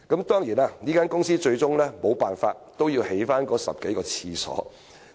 當然，公司最終沒有辦法，不得不興建10多個廁格。